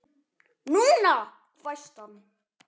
NÚNA! hvæsti hann.